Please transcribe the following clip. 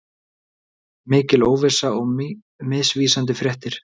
Mikil óvissa og misvísandi fréttir